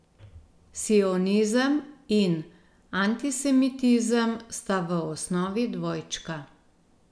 Sionizem in antisemitizem sta v osnovi dvojčka.